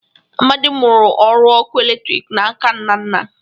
Amadị mụrụ ọrụ ọkụ eletriki n' aka Nnanna